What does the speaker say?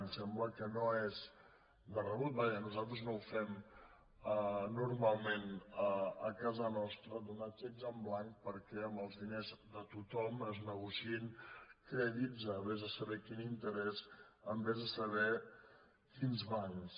ens sembla que no és de rebut vaja nosaltres no ho hem normalment a casa nostra donar xecs en blanc perquè amb els diners de tothom es negociïn crèdits a vés a saber quin interès amb vés a saber quins bancs